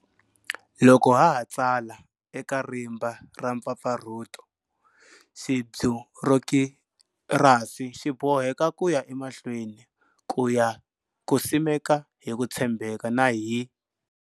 Loko ha ha tsala eka rimba ra mpfapfarhuto, xibyurokirasi xi boheka ku ya emahlweni ku simeka hi ku tshembeka na hi.